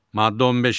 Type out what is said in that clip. Maddə 15.